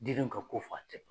Den nu ka ko fa te b